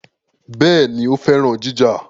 Béèni, ó féràn ìjà